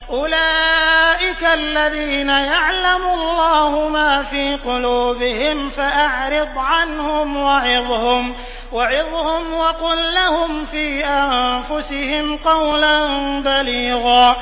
أُولَٰئِكَ الَّذِينَ يَعْلَمُ اللَّهُ مَا فِي قُلُوبِهِمْ فَأَعْرِضْ عَنْهُمْ وَعِظْهُمْ وَقُل لَّهُمْ فِي أَنفُسِهِمْ قَوْلًا بَلِيغًا